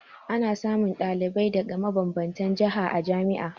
Ana samun ɗalibi daga mabanbanta jiha a jami'a